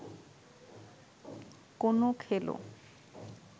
কোনো খেলো